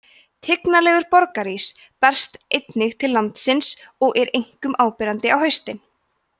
tignarlegur borgarís berst einnig til landsins og er einkum áberandi á haustin